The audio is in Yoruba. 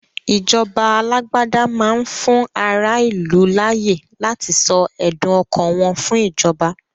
Ìjọba alágbádá máá ń fún ará ìlú láyé láti sọ ẹdùn ọkàn wọn fún ìjọba